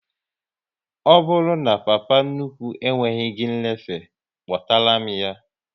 Ọ bụrụ na papa nnukwu ekweghị gị nlefe, kpọtara m ya!